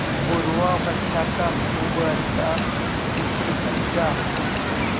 पूर्वावस्था का खूब अच्छा चित्र खींचा